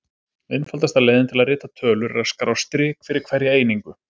Einfaldasta leiðin til að rita tölur er að skrá strik fyrir hverja einingu.